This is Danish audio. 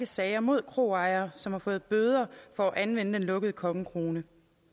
sager mod kroejere som har fået bøder for at anvende den lukkede kongekrone